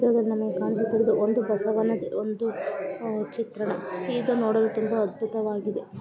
ಈ ಚಿತ್ರದಲ್ಲಿ ನಮಗೆ ಕಾಣಿಸುತ್ತಿರುವುದು ಒಂದು ಬಸವನ ಒಂದು ಅಹ್ ಚಿತ್ರ ಇದನ್ನು ನೋಡಲು ತುಂಬಾ ಅದ್ಭುತವಾಗಿದೆ